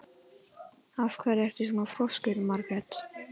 Af hverju ertu svona þrjóskur, Margrét?